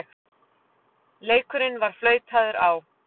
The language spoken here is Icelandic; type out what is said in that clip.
Leikurinn var flautaður á.